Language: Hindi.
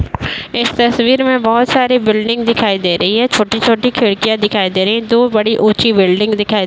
इस तस्वीर में बहोत सारी बिल्डिंग दिखाई दे रही है। छोटी-छोटी खिड़कियां दिखाई दे रही है। दो बड़ी ऊँच्ची बिल्डिंग दिखाई --